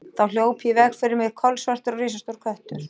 En þá hljóp í veg fyrir mig kolsvartur og risastór köttur.